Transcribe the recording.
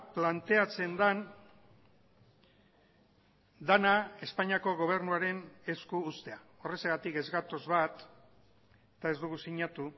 planteatzen den dena espainiako gobernuaren esku uztea horrexegatik ez gatoz bat eta ez dugu sinatu